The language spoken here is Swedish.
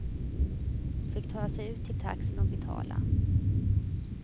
Hon fick ta sig ut till taxin och betala.